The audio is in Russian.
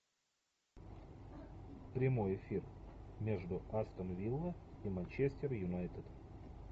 прямой эфир между астон вилла и манчестер юнайтед